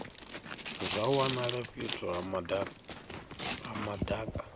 zwa wanala fhethu ha madaka